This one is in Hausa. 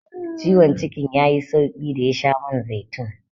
Ciwon cikin ya yi sauƙi da ya sha man zaitun.